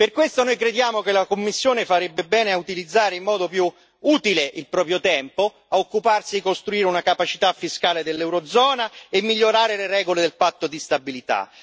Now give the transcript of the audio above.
Per questo noi crediamo che la Commissione farebbe bene a utilizzare, in modo più utile, il proprio tempo, a occuparsi a costruire una capacità fiscale dell'eurozona e a migliorare le regole del patto di stabilità.